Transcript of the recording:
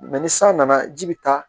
ni san nana ji bɛ taa